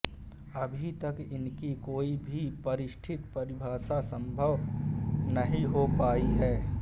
अभी तक इनकी कोई भी परिदृढ परिभाषा संभव नहीं हो पाई है